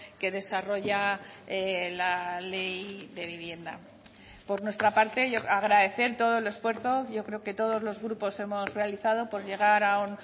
que desarrolla la ley de vivienda por nuestra parte agradecer todo el esfuerzo yo creo que todos los grupos hemos realizado por llegar a un